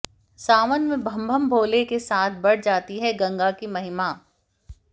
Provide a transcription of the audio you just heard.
सावन में बम बम भोले के साथ बढ़ जाती है गंगा की महिमा